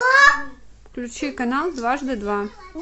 включи канал дважды два